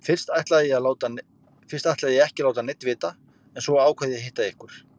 Fyrst ætlaði ég ekki að láta neinn vita en svo ákvað ég að hitta ykkur.